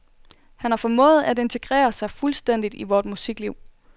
Han har formået at integrere sig fuldstændigt i vort musikliv.